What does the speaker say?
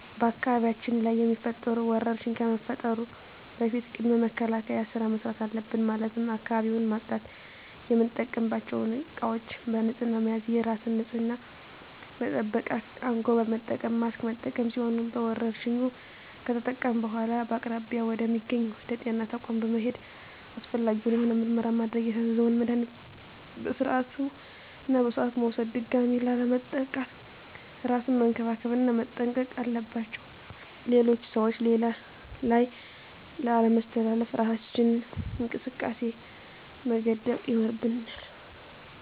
በአካባቢያችን ላይ የሚፈጠሩ ወረርሽኝ ከመፈጠሩ በፊት ቅድመ መከላከል ስራ መስራት አለብን ማለትም አካባቢውን ማፅዳት፣ የምንጠቀምባቸው እቃዎች በንህፅና መያዝ፣ የራስን ንፅህና መጠበቅ፣ አንጎበር መጠቀም፣ ማስክ መጠቀም ሲሆኑ በወረርሽኙ ከተጠቃን በኃላ በአቅራቢያ ወደ ሚገኝ ወደ ጤና ተቋም በመሔድ አስፈላጊውን የሆነ ምርመራ ማድረግ የታዘዘውን መድሀኒቶች በስርዓቱ እና በሰዓቱ መውሰድ ድጋሚ ላለመጠቃት እራስን መንከባከብ እና መጠንቀቅ አለባቸው ሌሎች ሰዎች ላይ ላለማስተላለፍ እራሳችንን ከእንቅስቃሴ መገደብ ይኖርብናል።